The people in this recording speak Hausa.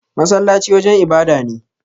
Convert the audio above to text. Masallaci wajan ibada ne.